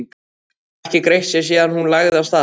Lilla ekki greitt sér síðan hún lagði af stað.